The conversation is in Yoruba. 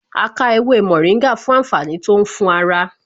A ká ewé mòríngà fún àǹfààní tó ń fún ara